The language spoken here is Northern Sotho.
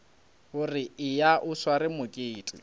gore eya o sware mokete